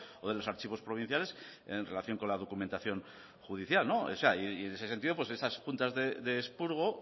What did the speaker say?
o de los archivos provinciales en relación con la documentación judicial y en ese sentido esas juntas de expurgo